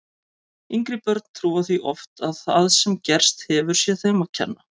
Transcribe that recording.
Yngri börn trúa því oft að það sem gerst hefur sé þeim að kenna.